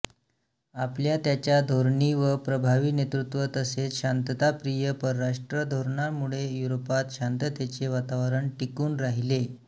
आपल्या त्याच्या धोरणी व प्रभावी नेतृत्व तसेच शांतताप्रिय परराष्ट्रधोरणांमुळे युरोपात शांततेचे वातावरण टिकून राहिले